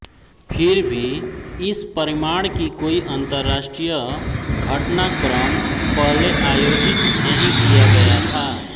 फिर भी इस परिमाण की कोई अंतरराष्ट्रीय घटनाक्रम पहले आयोजित नहीं किया गया था